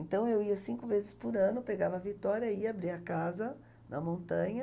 Então, eu ia cinco vezes por ano, pegava a Vitória, ia, abria a casa na montanha.